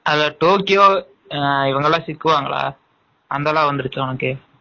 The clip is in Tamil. அதுல டோக்கியோ இவங்க எல்லாம் சிக்குவாங்கல்ல அதெல்லாம் வந்துருச்சா